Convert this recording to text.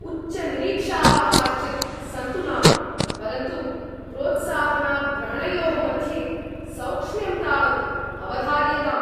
उच्चनिरीक्षाः काश्चित् सन्तु नाम, परन्तु प्रोत्साहनाग्रहणयोः मध्ये सौक्ष्म्यं तावत् अवधार्यताम्।